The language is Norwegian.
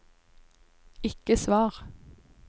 ikke svar